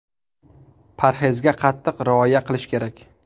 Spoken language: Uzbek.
Parhezga qattiq rioya qilish kerak.